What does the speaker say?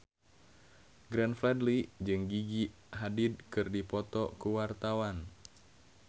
Glenn Fredly jeung Gigi Hadid keur dipoto ku wartawan